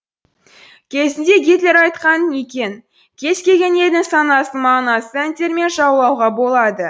кезінде гитлер айтқан екен кез келген елдің санасын мағынасыз әндермен жаулауға болады